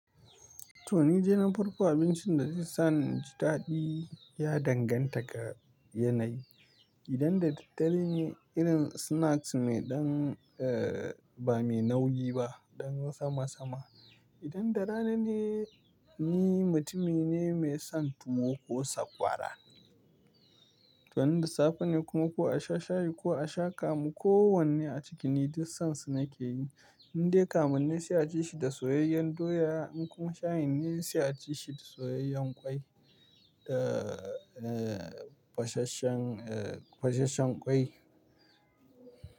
Toh ni de na farko abincin da nisan ci daɗi ya danganta ga yanayi. Idan da daddare ne, irin snacks mai ɗan, eh ba mai nauyi ba, ɗan wasa masa-masa. Idan da rana ne, ni mutumi ne mai son tuwo ko sakwara. Toh in da safe ne kuma ko a sha shayi ko a sha kamu, ko wanne a cikin ni duk sansu nake yi. Indai kamun ne sai a ci shi da soyayyen doya kuma shayin ne sai a ci shi da soyayyen ƙwai, eh, fesasshen eh fesasshen ƙwai.